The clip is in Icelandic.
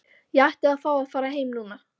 Ég átti að fá að fara heim núna.